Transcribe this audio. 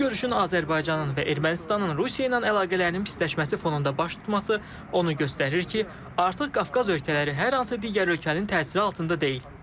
Bu görüşün Azərbaycanın və Ermənistanın Rusiya ilə əlaqələrinin pisləşməsi fonunda baş tutması onu göstərir ki, artıq Qafqaz ölkələri hər hansı digər ölkənin təsiri altında deyil.